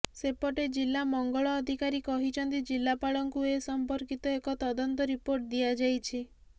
ସେପଟେ ଜିଲ୍ଲା ମଙ୍ଗଳ ଅଧିକାରୀ କହିଛନ୍ତି ଜିଲ୍ଲାପାଳଙ୍କୁ ଏ ସମ୍ପର୍କିତ ଏକ ତଦନ୍ତ ରିପୋର୍ଟ ଦିଆଯାଇଛି